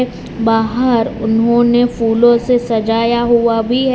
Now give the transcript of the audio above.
बाहर उन्होंने फूलों से सजाया हुआ भी है।